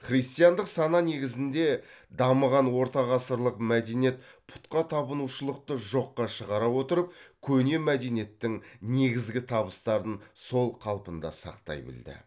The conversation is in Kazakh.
христиандық сана негізінде дамыған ортағасырлық мәдениет пұтқа табынушылықты жоққа шығара отырып көне мәдениеттің негізгі табыстарын сол қалпында сақтай білді